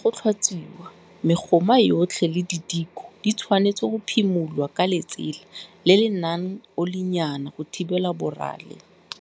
Morago ga go tlhatswiwa, megoma yotlhe le didiko di tshwanetse go phimolwa ka letsela le le nang olinyana go thibela borale.